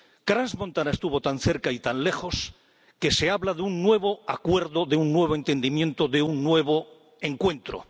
Crans Montana estuvo tan cerca y tan lejos que se habla de un nuevo acuerdo, de un nuevo entendimiento, de un nuevo encuentro.